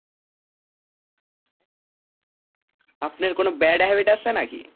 আপনের কোনো bad habit আছে নাকি?